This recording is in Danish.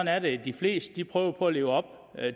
er det de fleste prøver på at leve op